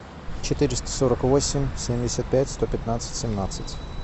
четыреста сорок восемь семьдесят пять сто пятнадцать семнадцать